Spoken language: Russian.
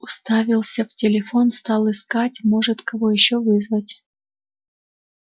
уставился в телефон стал искать может кого ещё вызвать